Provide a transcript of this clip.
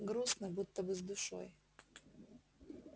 грустно будто бы с душой